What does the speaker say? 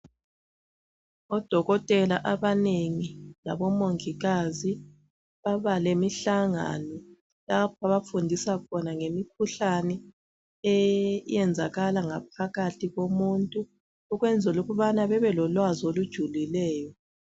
Odokotela abanengi labomongikazi baba lemihlangano lapho abafundisa khona ngemikhuhlane eyenzakala ngaphakathi komuntu ukwenzela ukubana babelolwazi olujulileyo